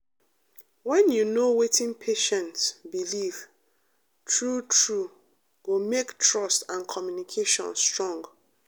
when you know wetin patient believe true true go make trust and communication strong.